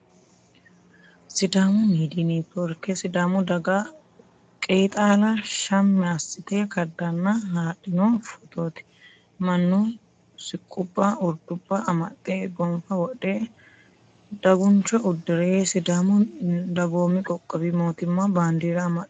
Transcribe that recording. Sidaamu midiyi neetiworke sidaamu daga qeexaala shammi assite kaddanna haadhino footooti. Mannu siqqubba urdubba amaxxe gonfa wodhe daguncho uddire sidaamu dagoomi qoqqowi mootimma baandiira amaxxite no.